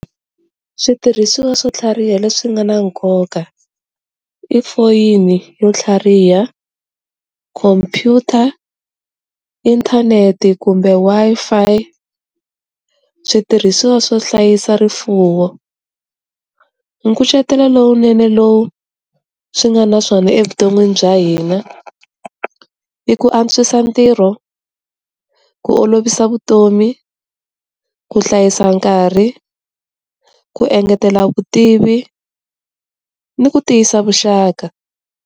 Switirhisiwa swo tlhariha leswi nga na nkoka i foyini yo tlhariha, computer, inthanete kumbe Wi-Fi, switirhisiwa swo hlayisa rifuwo, nkucetelo lowunene lowu swi nga na swona evuton'wini bya hina i ku antswisa ntirho, ku olovisa vutomi, ku hlayisa nkarhi, ku engetela vutivi ni ku tiyisa vuxaka.